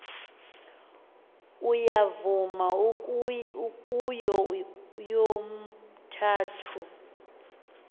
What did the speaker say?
uyavuma kuyo yomithathu